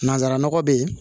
Nanzara nɔgɔ be ye